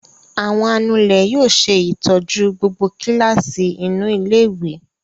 Àwọn anulẹ̀ yóò ṣe ìtọ́jú gbogbo kíláàsì inú ilé-ìwé.